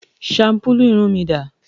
Shampulu irun mí dà?